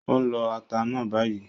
Ó ń lọ ata náà bayìí